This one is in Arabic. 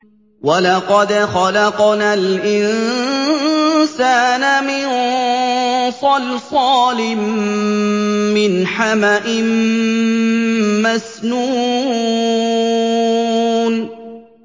وَلَقَدْ خَلَقْنَا الْإِنسَانَ مِن صَلْصَالٍ مِّنْ حَمَإٍ مَّسْنُونٍ